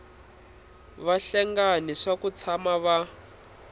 vahlengani swa ku tshama va